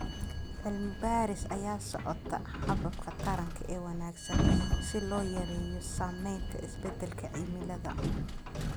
Cilmi baaris ayaa socota hababka taranka ee wanaagsan si loo yareeyo saameynta isbedelka cimilada.